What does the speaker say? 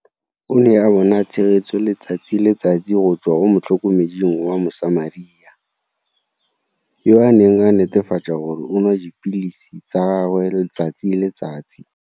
O ne a bona tshegetso letsatsi le letsatsi go tswa go motlhokomeding wa Mosamaria, yo a neng a netefatsa gore o nwa dipilisi tsa gagwe letsatsi le letsatsi